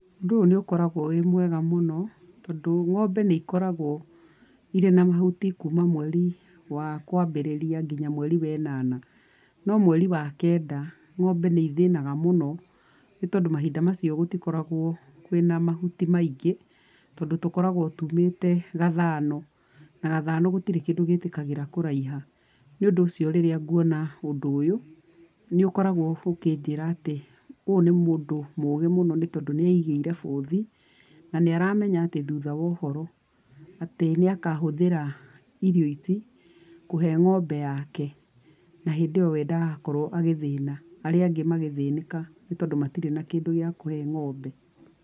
Ũndũ ũyũ nĩ ũkoragũo wĩ mwega mũno tondũ ng'ombe nĩ ikoragũo irĩ na mahuti kuma mweri wa kwambĩrĩria nginya mweri we ĩnana. No mweri wa kenda ng'ombe nĩ ithĩnaga mũno nĩtondũ mahinda macio gũtikoragũo kwĩna mahuti maingĩ, tondũ tũkoragũo tumĩte gathano, na gathano gũtirĩ kĩndũ gĩtĩkagĩra kũraiha. Nĩ ũndũ ũcio rĩrĩa nguona ũndũ ũyũ, nĩ ũkoragwo ũkĩnjĩra atĩ ũyũ nĩ mũndũ mũgĩ mũno nĩ tondũ nĩaigĩire bũthi na nĩaramenya atĩ thutha wa ũhoro atĩ nĩ akahũthĩra irio ici kũhe ng'ombe yake. Na hĩndĩ ĩyo we ndagakorwo agĩthĩna arĩa angĩ magĩthĩnĩka nĩ tondũ matirĩ na kĩndũ gĩa kũhe ng'ombe.